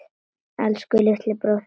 Elsku litli bróðir minn.